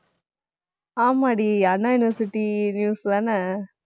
ஆமாடி Anna University news தானே